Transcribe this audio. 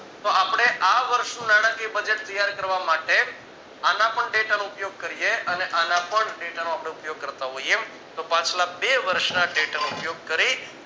તો આપણે આ વર્ષનું નાણાકીય budget ત્યાર કરવા માટે આના પણ data નો ઉપયોગ કરતા હોઈએ તો પાછળ બે વર્ષ ના data નો ઉપયોગ કરી